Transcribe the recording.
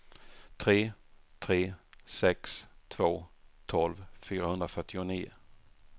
tre tre sex två tolv fyrahundrafyrtionio